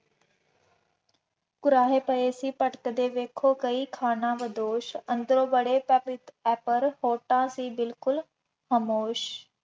ਕੁਰਾਹੇ ਪਏ ਸੀ ਭਟਕਦੇ ਵੇਖੋ ਕਈ ਖਾਨਾਬਦੋਸ਼, ਅੰਦਰੋ ਬੜੇ ਪਰ ਹੋਤਾ ਸੀ ਬਿਲਕੁੱਲ ਖਾਮੋਸ਼